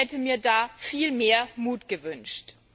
Ich hätte mir da viel mehr Mut gewünscht.